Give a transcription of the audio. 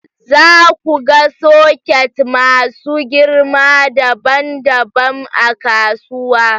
Za ku ga soket masu girma dabam dabam a kasuwa